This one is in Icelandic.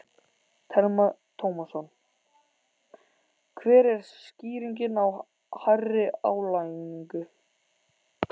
Telma Tómasson: Hver er skýringin á hærri álagningu?